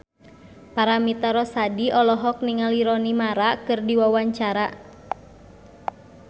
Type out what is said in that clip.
Paramitha Rusady olohok ningali Rooney Mara keur diwawancara